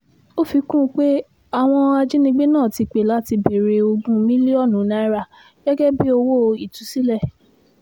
ó fi kún un pé àwọn ajínigbé náà ti pẹ́ láti béèrè ogún mílíọ̀nù náírà gẹ́gẹ́ bíi owó ìtúsílẹ̀